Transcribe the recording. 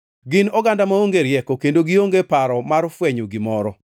Gin oganda maonge rieko, kendo gionge paro mar fwenyo gimoro.